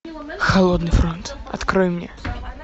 холодный фронт открой мне